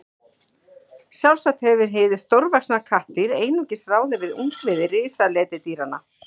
Sjálfsagt hefur hið stórvaxna kattardýr einungis ráðið við ungviði risaletidýranna.